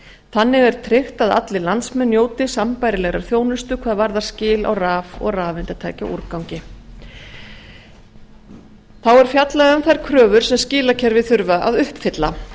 þannig er tryggt að allir landsmenn njóti sambærilegrar þjónustu hvað varðar skil á raf og rafeindatækjaúrgangi þá er fjallað um þær kröfur sem skilakerfi þurfa að uppfylla